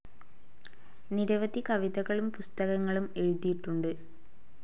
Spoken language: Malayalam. നിരവധി കവിതകളും പുസ്തകങ്ങളും എഴുതിയിട്ടുണ്ട്.